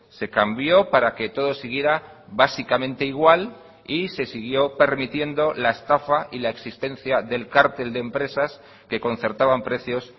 se cambió para que todo siguiera básicamente igual y se siguió permitiendo la estafa y la existencia del cártel de empresas que concertaban precios